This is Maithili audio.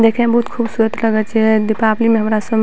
देखे में बहुत खूबसूरत लगे छै दीपावली में हमरा संग --